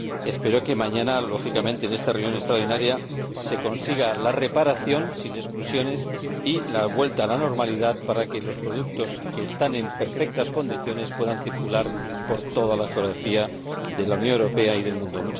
Espero, lógicamente, que mañana, en esta reunión extraordinaria, se consigan la reparación sin exclusiones y la vuelta a la normalidad, para que los productos que están en perfectas condiciones puedan circular por toda la geografía de la Unión Europea y del mundo.